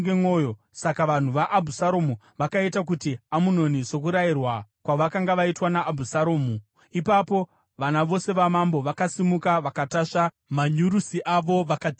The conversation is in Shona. Saka vanhu vaAbhusaromu vakaita kuna Amunoni sokurayirwa kwavakanga vaitwa naAbhusaromu. Ipapo vana vose vamambo vakasimuka, vakatasva manyurusi avo vakatiza.